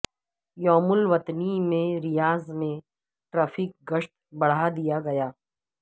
یوم الوطنی پر ریاض میں ٹریفک گشت بڑھادیا گیا